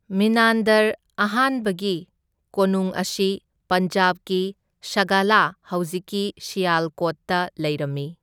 ꯃꯤꯅꯥꯟꯗꯔ ꯑꯍꯥꯟꯕꯒꯤ ꯀꯣꯅꯨꯡ ꯑꯁꯤ ꯄꯟꯖꯥꯕꯀꯤ ꯁꯥꯒꯂꯥ ꯍꯧꯖꯤꯛꯀꯤ ꯁꯤꯌꯥꯜꯀꯣꯠꯇ ꯂꯩꯔꯝꯃꯤ꯫